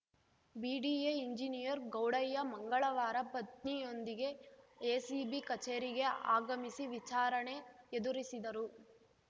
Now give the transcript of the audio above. BDA engineer Gowdaiah ಮಂಗಳವಾರ ಪತ್ನಿಯೊಂದಿಗೆ ACB ಕಚೇರಿಗೆ ಆಗಮಿಸಿ ವಿಚಾರಣೆ ಎದುರಿಸಿದರು